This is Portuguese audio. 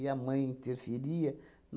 a mãe interferia.